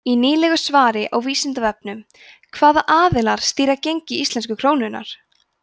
í nýlegu svari á vísindavefnum hvaða aðilar stýra gengi íslensku krónunnar